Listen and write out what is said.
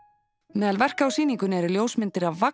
meðal verka á sýningunni eru ljósmyndir af